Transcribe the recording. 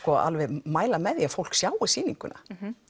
mæla með því að fólk sjái sýninguna